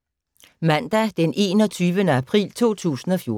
Mandag d. 21. april 2014